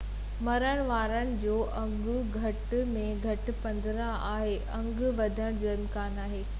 مرڻ وارن جو انگ گهٽ ۾ گهٽ 15 آهي انگ وڌڻ جو امڪان آهي